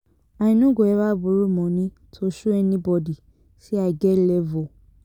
I no go eva borrow moni to show anybodi sey I get level.